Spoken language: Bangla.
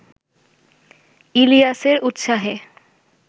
ইলিয়াসের উত্সাহে